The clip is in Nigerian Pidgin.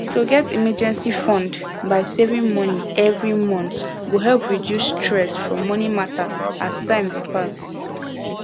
to get emergency fund by saving money every month go help reduce stress from money matter as time dey pass